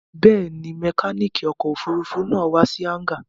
Bẹ́ẹ̀ni, mẹkáníkì ọkọ̀-òfurufú náà wà sí hángà.